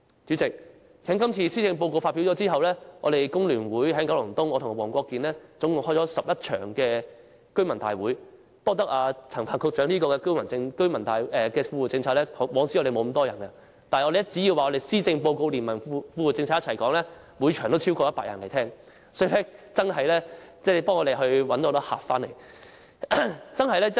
主席，施政報告發表後，我們工聯會和黃國健議員在九龍東召開了共11場居民大會，我們也要感謝陳帆局長的富戶政策，因為以往從沒有這麼多市民出席大會，但只要我們將施政報告連同富戶政策一起討論，每場都有超過100人參加，所以富戶政策真的為我們吸引了很多市民。